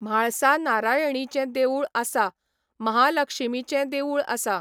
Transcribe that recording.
म्हाळसा नारायणीचें देवूळ आसा, महालक्षीमीचें देवूळ आसा,